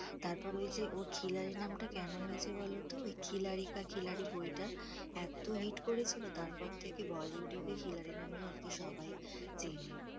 তারপর ওই যে ওর খিলাড়ি নামটা কেন হয়েছে বলতো, ওই খিলা রিকা খিলাড়ি বইটা, এত হিট করেছিল তারপর থেকে bollywood এ ওকে খিলাড়ি নামেই আরকি সবাই চেনে।